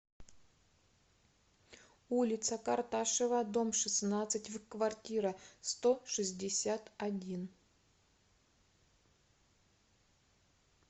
улица карташева дом шестнадцать в квартира сто шестьдесят один